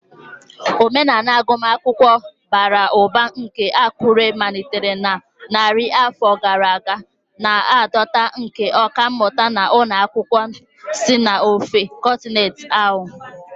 Omenala agụmakwụkwọ bara ụba nke Akure malitere na narị afọ gara aga, na-adọta ndị ọkà mmụta na ụmụ akwụkwọ si n'ofe kọntinent ahụ.